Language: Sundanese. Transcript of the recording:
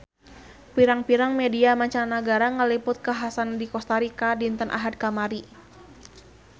Pirang-pirang media mancanagara ngaliput kakhasan di Kosta Rika dinten Ahad kamari